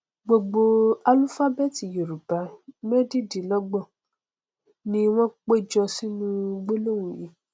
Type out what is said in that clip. gbogbo álúfábẹẹtì yorùbá mẹdẹẹdọgbọn ni wọn péjọ sínú gbólóhùn yìí